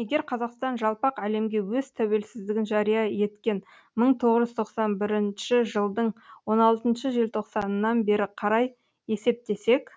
егер қазақстан жалпақ әлемге өз тәуелсіздігін жария еткен мың тоғыз жүз тоқсан бірінші жылдың он алтыншы желтоқсанынан бері қарай есептесек